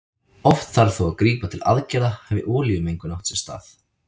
Oft þarf þó að grípa til aðgerða hafi olíumengun átt sér stað.